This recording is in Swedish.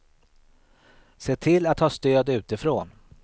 Se till att ha stöd utifrån.